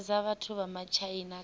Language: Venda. hanedza vhathu vha matshaina kha